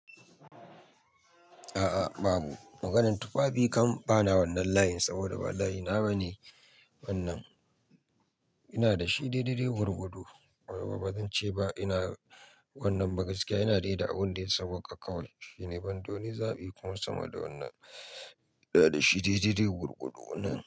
A'a, ba maganan tufafi kam bana wannan layin saboda ba layi na bane wannan. Ina da shi daidai gwargwado. Ba zan ce ba ina wannan ba gaskiya, ina dai da abinda ya sawwaƙa kawai shine banda wani zaɓi kuma sama da wannan. Ina da shi daidai gurgudu wannan.